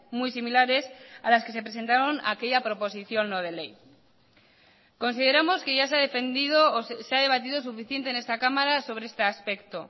muy similares a las que se presentaron a aquella proposición no de ley consideramos que ya se ha defendido o se ha debatido suficiente en esta cámara sobre este aspecto